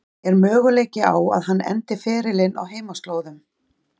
Er möguleiki á að hann endi ferilinn á heimaslóðum?